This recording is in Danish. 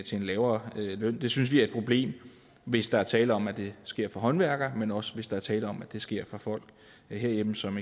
en lavere løn det synes vi er et problem hvis der er tale om at det sker for håndværkere men også hvis der er tale om at det sker for folk herhjemme som